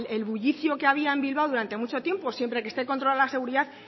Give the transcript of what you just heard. el bullicio que había en bilbao durante mucho tiempo siempre que esté controlado la seguridad